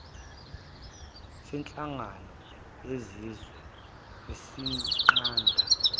senhlangano yezizwe esinqanda